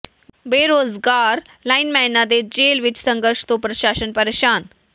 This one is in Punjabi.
ਬੇਰੁਜ਼ਗਾਰ ਲਾਈਨਮੈਨਾਂ ਦੇ ਜੇਲ੍ਹ ਵਿੱਚ ਸੰਘਰਸ਼ ਤੋਂ ਪ੍ਰਸ਼ਾਸਨ ਪ੍ਰੇਸ਼ਾਨ